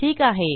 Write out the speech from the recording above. ठीक आहे